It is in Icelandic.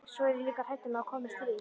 Svo er ég líka hrædd um að komi stríð.